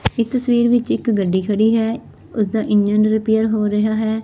ਇਸ ਤਸਵੀਰ ਵਿੱਚ ਇੱਕ ਗੱਡੀ ਖੜੀ ਹੈ ਉਸਦਾ ਇੰਜਨ ਰਿਪੇਅਰ ਹੋ ਰਿਹਾ ਹੈ।